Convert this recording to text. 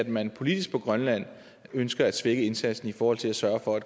man politisk på grønland ønsker at svække indsatsen i forhold til at sørge for at